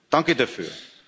Danke dafür.